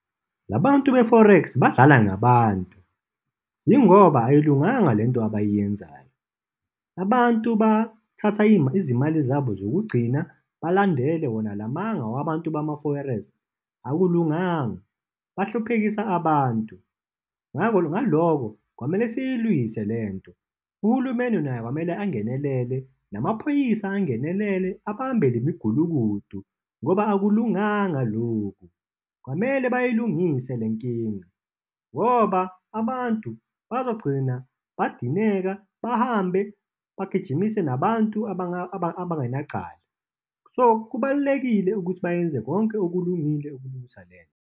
La bantu be-forex badlala ngabantu, yingoba ayilunganga le nto abayenzayo. Abantu bathatha izimali zabo zokugcina, balandele wona la manga wabantu bama-forex. Akulunganga. Bahluphekisa abantu. Ngakho, ngaloko, kwamele siyilwise le nto. Uhulumeni naye kwamele angenelele, namaphoyisa angenelele, abambe le migulukudu, ngoba akulunganga lokhu. Kwamele bayilungise le nkinga, ngoba abantu bazogcina badineka, bahambe, bagijimise nabantu abangenacala. So, kubalulekile ukuthi bayenze konke okulungile ukulungisa le nto.